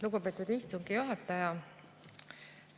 Lugupeetud istungi juhataja!